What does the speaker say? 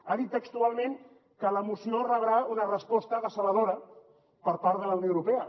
ha dit textualment que la moció rebrà una resposta decebedora per part de la unió europea